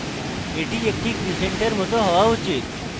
এটি একটি ক্রিসেন্টের it হওয়া উচিত